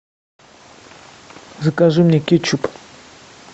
закажи мне кетчуп